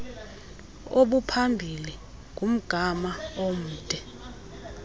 obuphambili ngumgama omde